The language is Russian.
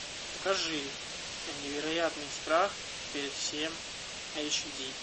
покажи невероятный страх перед всем эйч ди